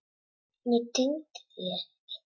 Ég tímdi því ekki.